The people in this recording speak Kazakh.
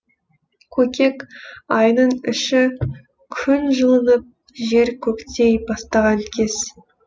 көкек айының іші күн жылынып жер көктей бастаған кез